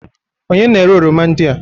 Onye na-ere oroma ndị a?